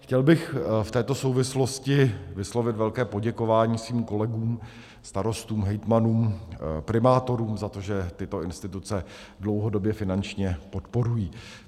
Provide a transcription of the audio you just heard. Chtěl bych v této souvislosti vyslovit velké poděkování svým kolegům, starostům, hejtmanům, primátorům, za to, že tyto instituce dlouhodobě finančně podporují.